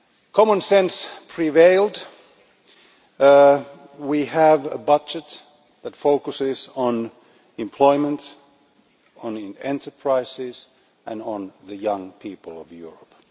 Common sense prevailed. We have a budget that focuses on employment, enterprises and the young people of Europe.